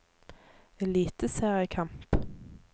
eliteseriekamp